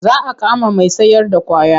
Za a kama mai sayarda ƙwaya.